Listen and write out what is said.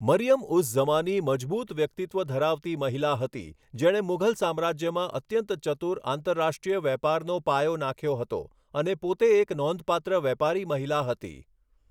મરિયમ ઉઝ ઝમાની મજબૂત વ્યક્તિત્વ ધરાવતી મહિલા હતી જેણે મુઘલ સામ્રાજ્યમાં અત્યંત ચતુર આંતરરાષ્ટ્રીય વેપારનો પાયો નાંખ્યો હતો અને પોતે એક નોંધપાત્ર વેપારી મહિલા હતી.